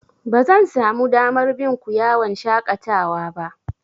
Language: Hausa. Bazan samu damar bin ku yawan shaƙatawa ba.